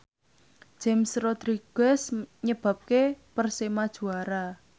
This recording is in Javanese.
James Rodriguez nyebabke Persema juara